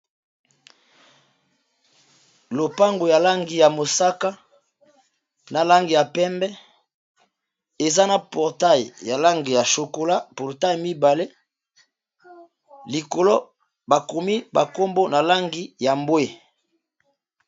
lopango ya langi ya mosaka na langi ya pembe eza na portail ya langi ya chokola portail mibale likolo bakomi bakombo na langi ya mbwe